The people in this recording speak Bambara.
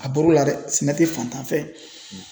A bɔr'o la dɛ! Sɛnɛ tɛ fantan fɛ ye.